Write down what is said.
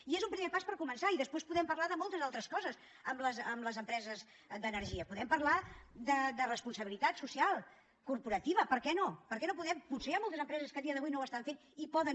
i és un primer pas per començar i després podem parlar de moltes altres coses amb les empreses d’energia podem parlar de responsabilitat social corporativa per què no per què no podem potser hi ha moltes empreses que avui dia no ho estan fent i poden